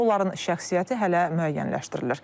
Onların şəxsiyyəti hələ müəyyənləşdirilir.